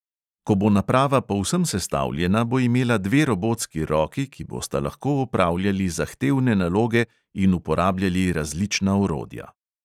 Ko bo naprava povsem sestavljena, bo imela dve robotski roki, ki bosta lahko opravljali zahtevne naloge in uporabljali različna orodja.